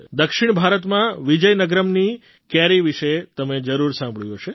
દક્ષિણ ભારતમાં વિજયનગરમ્ની કેરી વિશે તમે જરૂર સાંભળ્યું હશે